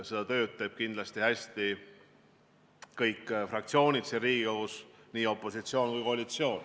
Seda tööd teevad kindlasti hästi kõik fraktsioonid siin Riigikogus, nii opositsioon kui ka koalitsioon.